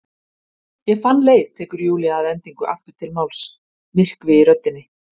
Ég fann leið, tekur Júlía að endingu aftur til máls, myrkvi í röddinni.